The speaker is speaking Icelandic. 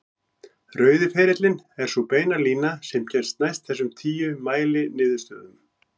Rauði ferillinn er sú beina lína sem kemst næst þessum tíu mæliniðurstöðum.